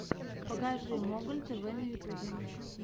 покажи моголь тв на ютьюбе